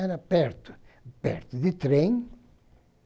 Era perto, perto de trem.